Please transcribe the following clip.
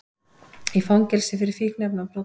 Í fangelsi fyrir fíkniefnabrot